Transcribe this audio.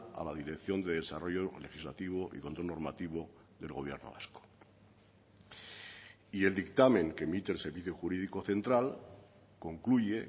a la dirección de desarrollo legislativo y control normativo del gobierno vasco y el dictamen que emite el servicio jurídico central concluye